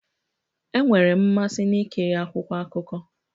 Enwere m mmasị na-ekiri akwụkwọ akụkọ